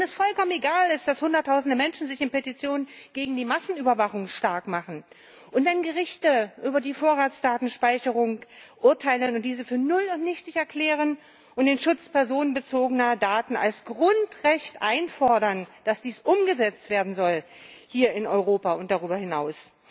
Wenn es vollkommen egal ist, dass sich Hunderttausende Menschen in Petitionen gegen die Massenüberwachung stark machen? Und wenn Gerichte über die Vorratsdatenspeicherung urteilen und diese für null und nichtig erklären und den Schutz personenbezogener Daten als Grundrecht einfordern, das umgesetzt werden soll, hier in Europa und darüber hinaus?